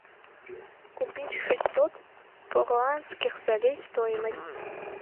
купить шестьсот перуанских солей стоимость